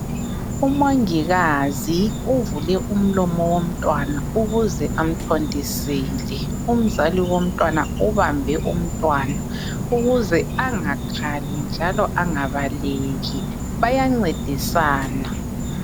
Umongikazi uvule umlomo womtwana ukuze amthontisele. Umzali womntwana ubambe umntwana ukuze angakhali njalo angabaleki. Bayancedisana.